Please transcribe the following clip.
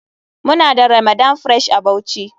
Muna da ramadan fress a bauchi.